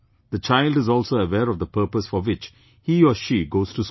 The child is also aware of the purpose for which he or she goes to school